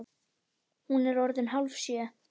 Hún var orðin hálfsjö.